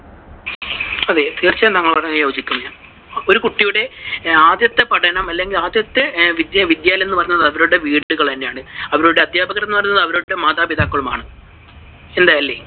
അതെ. തീർച്ചയായും താങ്കൾ പറഞ്ഞതിനോട് യോജിക്കുന്നു ഞാൻ ഒരു കുട്ടിയുടെ ആദ്യത്തെ പഠനം അല്ലെങ്കിൽ ആദ്യത്തെ വിദ്യാവിദ്യാലയം എന്ന് പറയുന്നത് അവരുടെ വീടുകളെ, അവരുടെ അധ്യാപകർ എന്ന് പറയുന്നത് അവരുടെ മാതാപിതാക്കളുമാണ്. അല്ലേ?